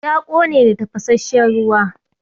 Ya ƙone da tafasasshen ruwa.